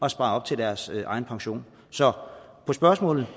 at spare op til deres egen pension så på spørgsmålet